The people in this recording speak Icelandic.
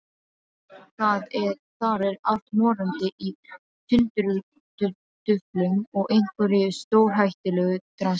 Þar er allt morandi í tundurduflum og einhverju stórhættulegu drasli.